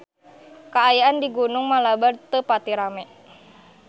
Kaayaan di Gunung Malabar teu pati rame